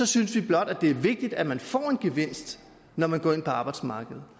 synes vi blot det er vigtigt at man får en gevinst når man går ind på arbejdsmarkedet